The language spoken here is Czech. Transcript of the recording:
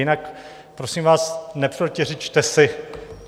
Jinak prosím vás, neprotiřečte si.